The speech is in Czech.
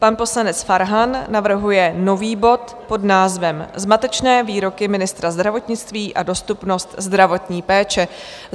Pan poslanec Farhan navrhuje nový bod pod názvem Zmatečné výroky ministra zdravotnictví a dostupnost zdravotní péče.